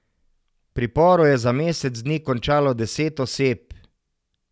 V priporu je za mesec dni končalo deset oseb.